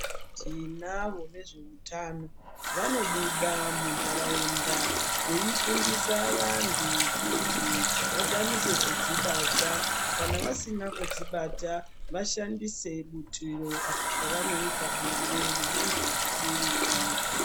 Tinavo vezvehutano, vanobuda mundarawunda, veyifundisa vantu kuti vakwanise kudzibata kana vasina kudzibata, vashandise putiro apa pavanoita bonde nemuntu usiri wavo.